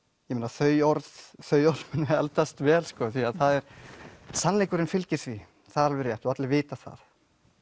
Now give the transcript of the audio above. þau orð þau orð munu eldast vel því að sannleikurinn fylgir því það er alveg rétt og allir vita það